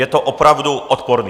Je to opravdu odporné.